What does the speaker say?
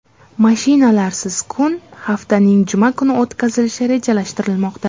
Mashinalarsiz kun haftaning juma kuni o‘tkazilishi rejalashtirilmoqda.